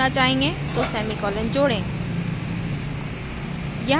तो semicolon जोड़ें